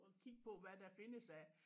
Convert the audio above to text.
Og kigge på hvad der findes af